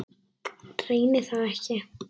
Reyni það ekki.